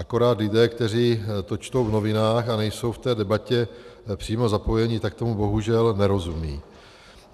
Akorát lidé, kteří to čtou v novinách a nejsou v té debatě přímo zapojeni, tak tomu bohužel nerozumí.